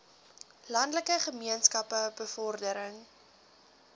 landelike gemeenskappe bevordering